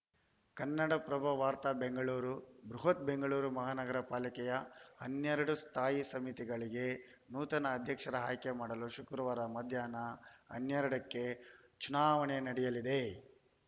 ಕನ್ನಡಪ್ರಭ ವಾರ್ತೆ ಬೆಂಗಳೂರು ಬೃಹತ್‌ ಬೆಂಗಳೂರು ಮಹಾನಗರ ಪಾಲಿಕೆಯ ಹನ್ನೆರಡು ಸ್ಥಾಯಿ ಸಮಿತಿಗಳಿಗೆ ನೂತನ ಅಧ್ಯಕ್ಷರ ಆಯ್ಕೆ ಮಾಡಲು ಶುಕ್ರವಾರ ಮಧ್ಯಾಹ್ನ ಹನ್ನೆರಡಕ್ಕೆ ಚುನಾವಣೆ ನಡೆಯಲಿದೆ